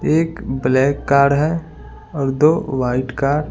एक black card है और दो वाइट कार ।